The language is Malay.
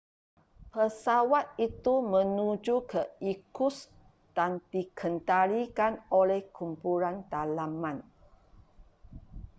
pesawat itu menuju ke irkutsk dan dikendalikan oleh kumpulan dalaman